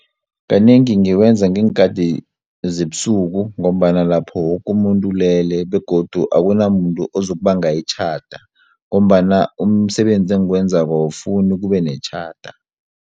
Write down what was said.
Kanengi ngikwenza ngeenkathi zebusuku ngombana lapho wokumuntu ulele begodu akunamuntu ozukubanga itjhada ngombana umsebenzi engiwenzako awufuni kube netjhada.